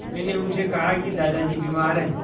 मैंने उनसे कहा कि दादाजी बीमार हैं